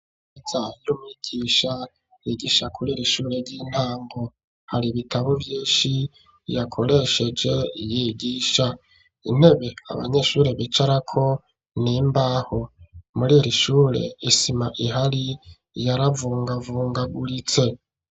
Imeza y'umwigisha yigisha kuri ir' ishure ry'intango hari ibitabo vyinshi yakoresheje yigisha intebe abanyeshuri bicarako nimbaho muririshure isima ihari yaravungavungaguritse.